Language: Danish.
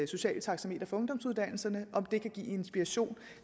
sociale taxametre for ungdomsuddannelserne om det kan give inspiration